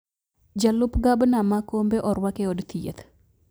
Jalup gabna ma Kombe orwak e od thieth